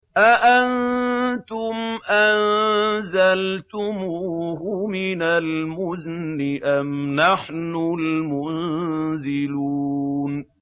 أَأَنتُمْ أَنزَلْتُمُوهُ مِنَ الْمُزْنِ أَمْ نَحْنُ الْمُنزِلُونَ